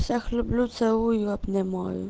всех люблю целую обнимаю